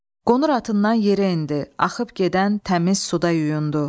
Qonur atından yerə endi, axıb gedən təmiz suda yuyundu.